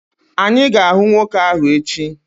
Anyị ga-ahụ nwoke ahụ echi.